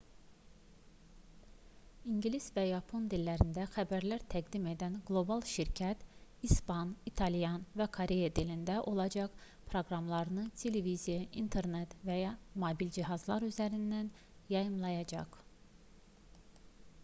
i̇ngilis və yapon dillərində xəbərlər təqdim edən qlobal şirkət i̇span i̇talyan və koreya dilində olacaq proqramlarını televiziya internet və mobil cihazlar üzərindən yayımlayacaq